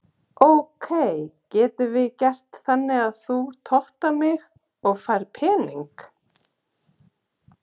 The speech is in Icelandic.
ok getum við gert þannig að þú tottar mig og ég fæ pening?